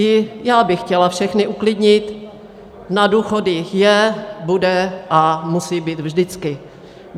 I já bych chtěla všechny uklidnit: na důchody je, bude a musí být vždycky.